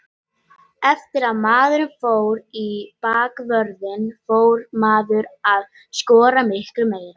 Eftir að maður fór í bakvörðinn fór maður að skora miklu meira.